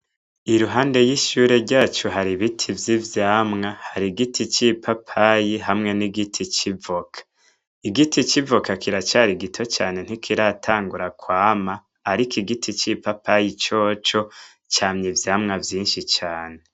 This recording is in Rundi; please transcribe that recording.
Iruhande y'ishure ryacu hari ibiti vy'ivyamwa. Hari igiti c'ipapayi hamwe n'igiti c'ivoka. Igiti c'ivoka kiracari gito cane, ntikiratangura kwama; ariko igiti c'ipapayi coco camye ivyamwa vyinshi cane.